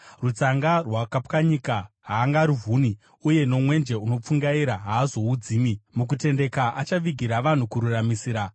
Rutsanga rwakapwanyika haangaruvhuni, uye nomwenje unopfungaira haazoudzimi. Mukutendeka, achavigira vanhu kururamisira;